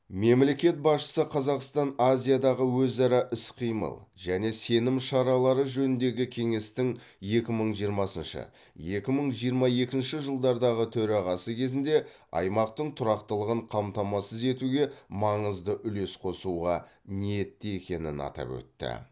мемлекет басшысы қазақстан азиядағы өзара іс қимыл және сенім шаралары жөніндегі кеңестің екі мың жиырмасыншы екі мың жиырма екінші жылдардағы төрағасы кезінде аймақтың тұрақтылығын қамтамасыз етуге маңызды үлес қосуға ниетті екенін атап өтті